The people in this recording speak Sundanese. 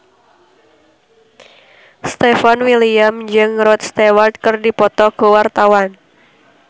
Stefan William jeung Rod Stewart keur dipoto ku wartawan